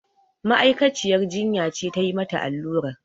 Ma'aikaciyar jinya ce tayi mata allurar